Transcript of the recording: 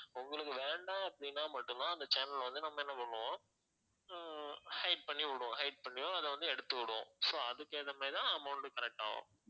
உங்களுக்கு வேண்டாம் அப்படின்னா மட்டும் தான் அந்த channel வந்து நம்ம என்ன பண்ணுவோம் ஹம் hide பண்ணி விடுவோம் hide பண்ணியோ அத வந்து எடுத்து விடுவோம் so அதுக்கு ஏத்த மாதிரி தான் amount collect ஆகும்